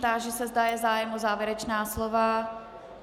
Táži se, zda je zájem o závěrečná slova.